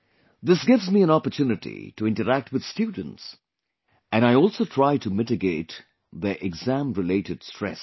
This gives me an opportunity to interact with students, and I also try to mitigate their exam related stress